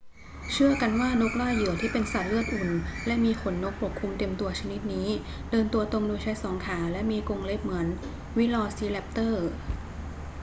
เชื่อกันว่านกล่าเหยื่อที่เป็นสัตว์เลือดอุ่นและมีขนนกปกคลุมเต็มตัวชนิดนี้เดินตัวตรงโดยใช้สองขาและมีกรงเล็บเหมือนวิลอซีแรปเตอร์